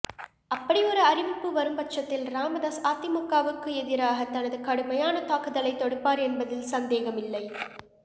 அப்படி ஒரு அறிவிப்பு வரும்பட்சத்தில் ராமதாஸ் அதிமுகவுக்கு எதிராக தனது கடுமையான தாக்குதலை தொடுப்பார் என்பதில் சந்தேகம் இல்லை